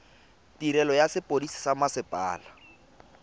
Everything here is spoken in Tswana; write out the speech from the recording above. tirelo ya sepodisi sa mmasepala